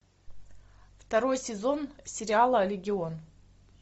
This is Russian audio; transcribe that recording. второй сезон сериала легион